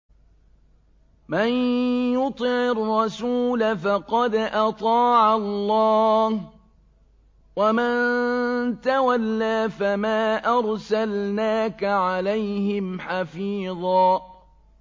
مَّن يُطِعِ الرَّسُولَ فَقَدْ أَطَاعَ اللَّهَ ۖ وَمَن تَوَلَّىٰ فَمَا أَرْسَلْنَاكَ عَلَيْهِمْ حَفِيظًا